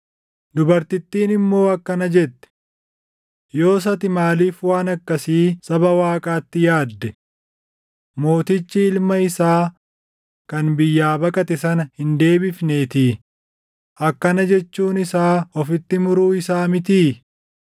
Dubartittiin immoo akkana jette; “Yoos ati maaliif waan akkasii saba Waaqaatti yaadde? Mootichi ilma isaa kan biyyaa baqate sana hin deebifneetii; akkana jechuun isaa ofitti muruu isaa mitii?